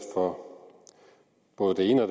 for både det ene og